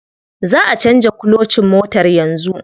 Za'a canza kulocin motar yanzu.